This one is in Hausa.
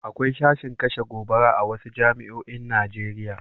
Akwai sashin kashe gobara a wasu jami'oin Najeriya.